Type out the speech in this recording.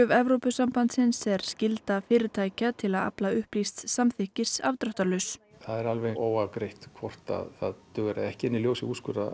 Evrópusambandsins er skylda fyrirtækja til að afla upplýsts samþykkis afdráttarlaus það er óafgreitt hvort það dugar eða ekki en í ljósi úrskurða